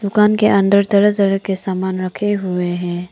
दुकान के अंदर तरह तरह के सामान रखे हुए हैं।